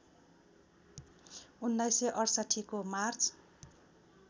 १९६८ को मार्च